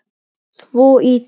Svo ýtti